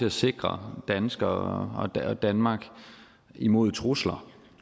at sikre danskere og danmark imod trusler